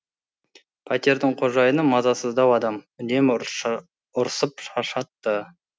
пәтердің қожайыны мазасыздау адам үнемі ұрсып шаршатты